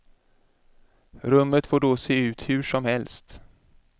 Rummet får då se ut hur som helst.